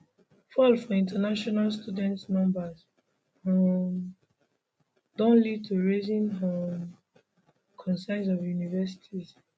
fall for international student numbers um don lead to rising um concerns for universities